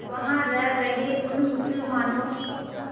वहां रह रहे उन मुसलमानों की